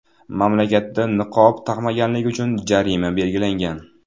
Mamlakatda niqob taqmaganlik uchun jarima belgilangan.